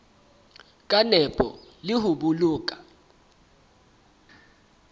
ka nepo le ho boloka